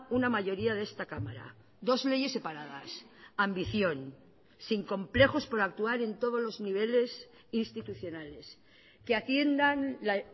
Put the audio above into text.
una mayoría de esta cámara dos leyes separadas ambición sin complejos por actuar en todos los niveles institucionales que atiendan la